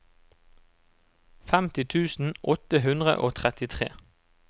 femti tusen åtte hundre og trettitre